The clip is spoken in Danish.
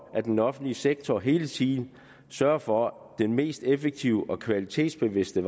at den offentlige sektor hele tiden sørger for den mest effektive og kvalitetsbevidste